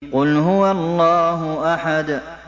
قُلْ هُوَ اللَّهُ أَحَدٌ